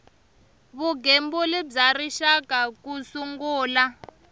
vugembuli bya rixaka ku sungula